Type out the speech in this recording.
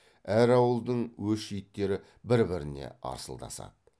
әр ауылдың өш иттері бір біріне арсылдасады